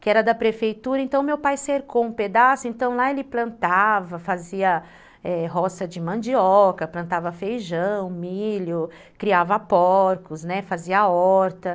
que era da prefeitura, então meu pai cercou um pedaço, então lá ele plantava, fazia, é, roça de mandioca, plantava feijão, milho, criava porcos, fazia horta.